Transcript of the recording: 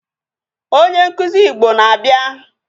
Onye nkụzi Igbo na-abịa.